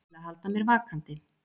Til að halda mér vakandi.